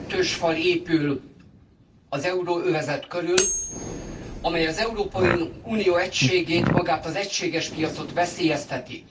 Kettős fal épül az euróövezet körül, amely az Európai Unió egységét és magát az egységes piacot veszélyezteti.